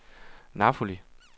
Napoli